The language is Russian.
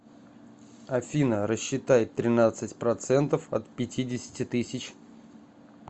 афина рассчитай тринадцать процентов от пятидесяти тысяч